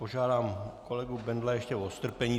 Požádám kolegu Bendla ještě o strpení.